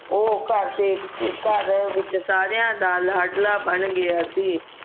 ਉਹ ਘਰ ਦੇ ਘਰ ਵਿਚ ਸਾਰੀਆਂ ਦਾ ਲਾਡਲਾ ਬਣ ਗਿਆ ਸੀ